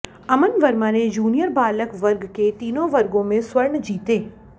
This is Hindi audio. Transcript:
अमन वर्मा ने जूनियर बालक वर्ग के तीनों वर्गो में स्वर्ण जीते